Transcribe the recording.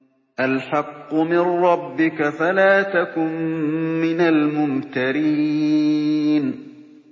الْحَقُّ مِن رَّبِّكَ فَلَا تَكُن مِّنَ الْمُمْتَرِينَ